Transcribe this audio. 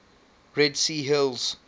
red sea hills